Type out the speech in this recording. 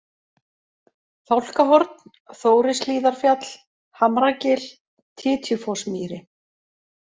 Fálkahorn, Þórishlíðarfjall, Hamragil, Titjufossmýri